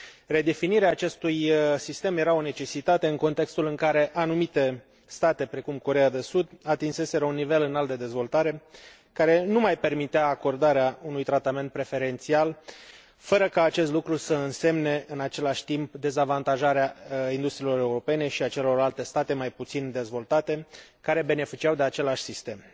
Redefinirea acestui sistem era o necesitate, în contextul în care anumite state, precum Coreea de Sud, atinseseră un nivel înalt de dezvoltare, care nu mai permitea acordarea unui tratament preferențial, fără ca acest lucru să însemne, în același timp, dezavantajarea industriilor europene și a celorlalte state mai puțin dezvoltate care beneficiau de același sistem.